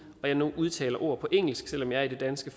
og nu udtaler ord på engelsk selv om jeg er i det danske